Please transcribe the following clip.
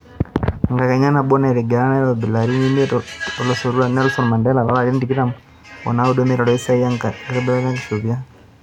Enkakenya nabo naitiringa nairobi larin imiet ootulusoitia, Nelson Mandela loolarin tikitam o naudo neiteru esiai enkitobirata olkishopia.